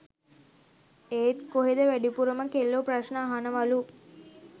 එත් කොහෙද වැඩිපුරම කෙල්ලෝ ප්‍රශ්න අහනවලු